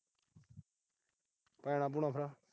ਭੈਣਾਂ-ਭੂਣਾਂ ਫਿਰ।